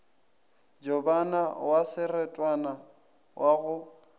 jobana wa serotwana wa go